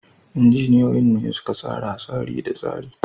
Injiniyoyin ne suka tsara tsari da tsari.